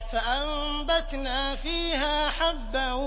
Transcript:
فَأَنبَتْنَا فِيهَا حَبًّا